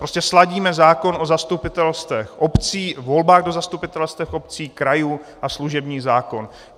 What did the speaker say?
Prostě sladíme zákon o zastupitelstvech obcí, volbách do zastupitelstev obcí, krajů a služební zákon.